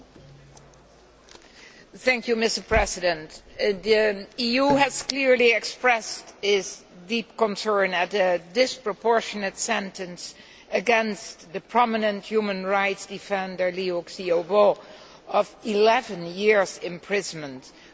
Mr President, the EU has clearly expressed its deep concern at the disproportionate sentence against the prominent human rights defender Liu Xiaobo of 11 years' imprisonment for his role as the author of